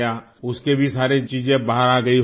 اس کی بھی ساری چیزیں باہر آگئی ہوں گی